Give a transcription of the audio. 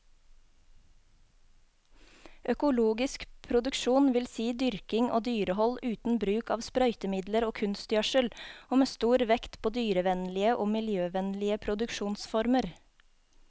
Økologisk produksjon vil si dyrking og dyrehold uten bruk av sprøytemidler og kunstgjødsel, og med stor vekt på dyrevennlige og miljøvennlige produksjonsformer.